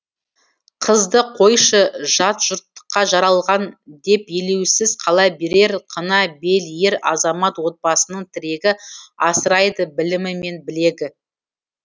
қызды қойшы жат жұрттыққа жаралған деп елеусіз қала берер қына бел ер азамат отбасының тірегі асырайды білімі мен білегі